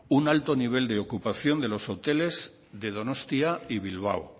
un alto nivel de ocupación de los hoteles de donostia y bilbao